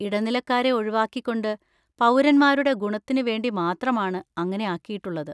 ഇടനിലക്കാരെ ഒഴിവാക്കിക്കൊണ്ട് പൗരന്മാരുടെ ഗുണത്തിന് വേണ്ടി മാത്രമാണ് അങ്ങനെ ആക്കിയിട്ടുള്ളത്.